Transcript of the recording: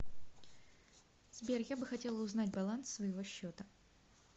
сбер я бы хотела узнать баланс своего счета